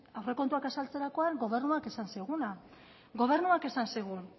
aurrekontuak azaltzerakoan gobernuak esan ziguna gobernuak esan zigun